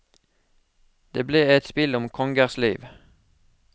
Det ble et spill om kongers liv.